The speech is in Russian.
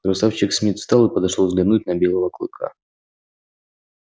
красавчик смит встал и подошёл взглянуть на белого клыка